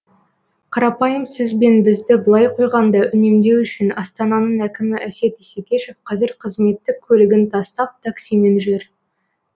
қарапайым сіз бен бізді былай қойғанда үнемдеу үшін астананың әкімі әсет исекешев қазір қызметтік көлігін тастап таксимен жүр